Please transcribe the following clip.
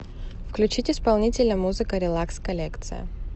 включить исполнителя музыка релакс коллекция